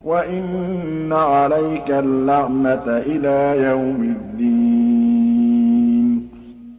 وَإِنَّ عَلَيْكَ اللَّعْنَةَ إِلَىٰ يَوْمِ الدِّينِ